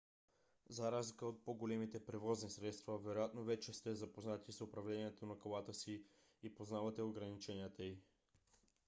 за разлика от по-големите превозни средства вероятно вече сте запознати с управлението на колата си и познавате ограниченията й